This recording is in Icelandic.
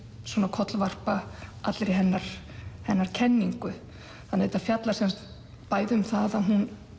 kollvarpa allri hennar hennar kenningu þannig að þetta fjallar sem sagt bæði um það að hún